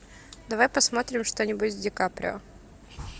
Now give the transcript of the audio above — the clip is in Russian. давай посмотрим что нибудь с ди каприо